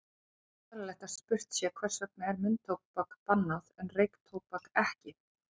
Þá er eðlilegt að spurt sé, hvers vegna er munntóbak bannað en reyktóbak ekki?